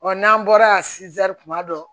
n'an bɔra yan kuma dɔ